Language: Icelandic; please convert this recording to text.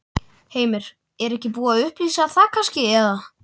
Heimir: Ekki búið að upplýsa það kannski, eða?